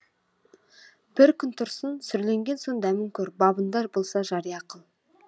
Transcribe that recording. бір күн тұрсын сүрленген соң дәмін көр бабында болса жария қыл